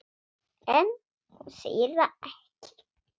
En hún segir það ekki.